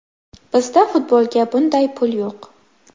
Bizda futbolga bunday pul yo‘q.